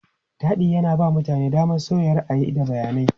Taɗi yana ba mutane damar musayar ra'ayi, da bayanai.